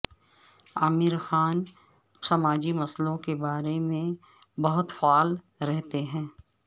عامر خان سماجی مسئلوں کے معاملے میں بہت فعال رہتے ہیں